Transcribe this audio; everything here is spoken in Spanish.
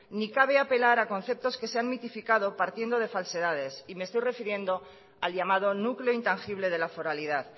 ni cabe apelar a conceptos que se han mitificado partiendo de falsedades y me estoy refiriendo al llamado núcleo intangible de la foralidad